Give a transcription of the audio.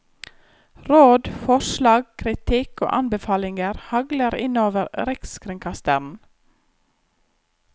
Råd, forslag, kritikk og anbefalinger hagler inn over rikskringkasteren.